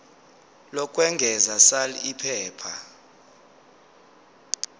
lokwengeza sal iphepha